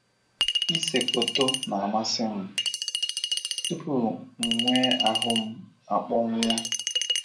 “ Ise foto na - amasị m tupu m nwee ahụ m akpọnwụọ.